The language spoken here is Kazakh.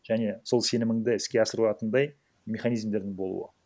және сол сенімінді іске асыра алатындай механизмдердің болуы